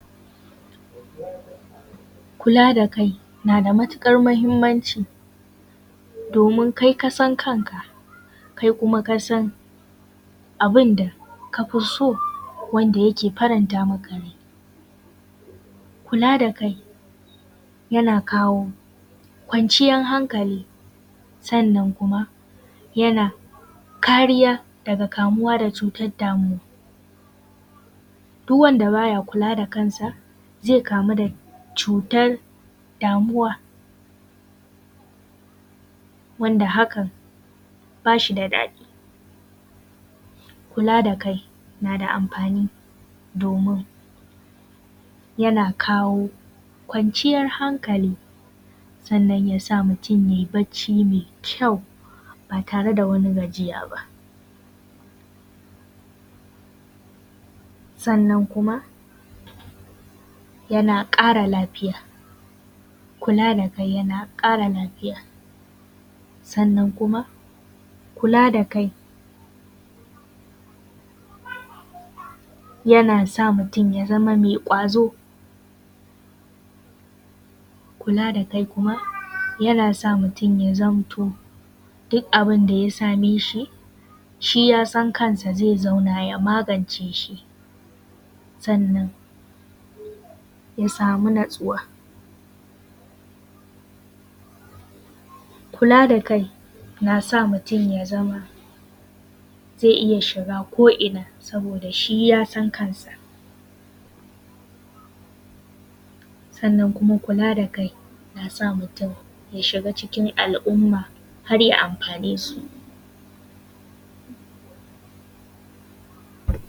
Kula da kai na da matukar mahimmanci, domin kai kasan kanka kai kuma kasan abinda kai kafi so wanda yake faranta maka rai. Kula da kai yana kawo kwanciyar hankali sannan kuma yana kariya daga kamuwa da cutar damuwa. Duk wanda baya kula da kansa zai kamu da cutar damuwa wanda hakan ba shi da daɗi. Kula da kai na da amfani domin yana kawo kwanciyar hankali sannan yasa mutum yayi bacci mai kyau ba tare da wani gajiya ba, sannan kuma yana ƙara lafiya. Kula da kai yana ƙara lafiya sannan kuma kula da kai yana sa mutum ya zama mai ƙwazo, kula da kai yana sa mutum ya zamto duk abinda ya same shi, shi yasan kansa zai zauna ya magance shi, sannan ya samu natsuwa. Kula da kai na sa mutum ya zama zai iya shiga ko ina saboda shi yasan kansa, sannan kuma kula da kai na sa mutum ya shiga cikin al’ummah har ya amfane su